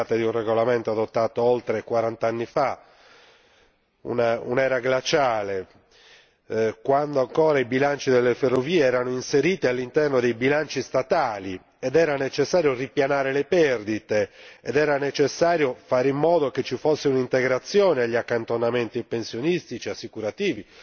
Si tratta di un regolamento adottato oltre quarant'anni fa, un'era glaciale, quando ancora i bilanci delle ferrovie erano inseriti all'interno dei bilanci statali ed era necessario ripianare le perdite, ed era necessario fare in modo che ci fosse un'integrazione degli accantonamenti pensionistici, assicurativi